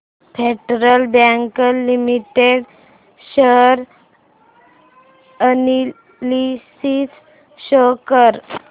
federal Bank Limited share analysis show कर